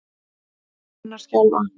Hendur hennar skjálfa.